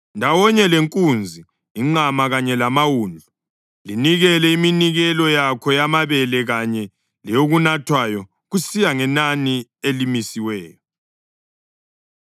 Ndawonye lenkunzi, inqama kanye lamawundlu, linikele iminikelo yakho yamabele kanye leyokunathwayo kusiya ngenani elimisiweyo.